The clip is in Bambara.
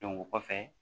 o kɔfɛ